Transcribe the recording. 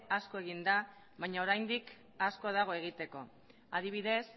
asko egin da baina oraindik asko dago egiteko adibidez